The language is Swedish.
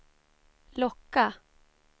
locka